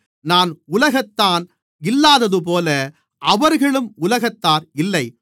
நான் உலகத்தான் இல்லாததுபோல அவர்களும் உலகத்தார் இல்லை